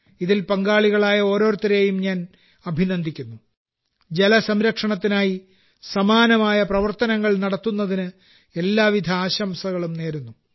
ഇതിൽ പങ്കാളികളായ ഓരോരുത്തരെയും ഞാൻ അഭിനന്ദിക്കുന്നു ജലസംരക്ഷണത്തിനായി സമാനമായ പ്രവർത്തനങ്ങൾ നടത്തുന്നതിന് എല്ലാവിധ ആശംസകളും നേരുന്നു